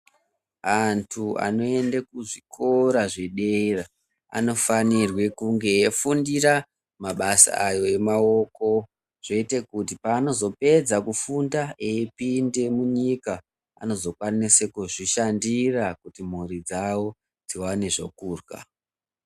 Antu ano ende kuzvikora zvedera anofanirwe kunge eyi fundira mabasa ayo e maiko zvooite kuti paano pedza kufunda eyi pinde munyika anozo kwanise kuzvi shandira kuti mhuri dzavo dziwane zvokudya.